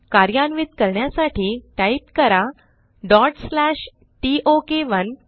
कार्यान्वित करण्यासाठी टाईप करा टोक1